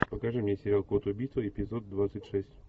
покажи мне сериал код убийства эпизод двадцать шесть